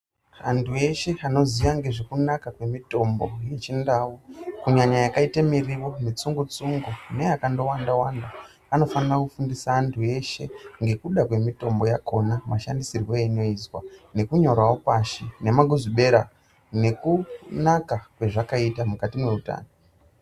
Antu eshe anoziya ngezvekunaka kwemitombo yechindau kunyanya yakaite miriwo mitsungu-tsungu neyakandowanda-wanda, anofana kufundisa antu eshe ngekuda kwemitombo yakhona, mashandisirwe einoizwa, nekunyorawo pashi, nemaguzibhera nekunaka kwezvakaita mukati meutano.